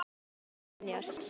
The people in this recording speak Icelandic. Sumu er ekki hægt að venjast.